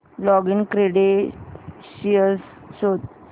login credentials शोध